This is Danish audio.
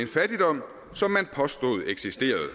fattigdom som man påstod eksisterede